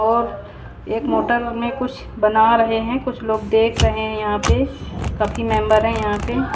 और एक कुछ बना रहे हैं कुछ लोग देख रहे हैं यहां पे काफी मेंबर है यहां पे।